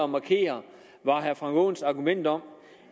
markere var herre frank aaens argument om